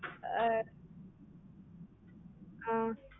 ஆஹ் ஆஹ்